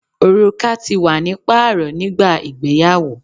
Oruka ti wa ni paarọ nigba igbeyawo